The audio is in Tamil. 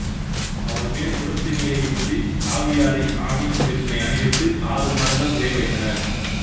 அவர்மேல் குடத்து நீரை ஊற்றி காவியாடை ஆணி செருப்பினை அணிவித்து ஆறு மாதங்கள் சிறைவைத்தனர்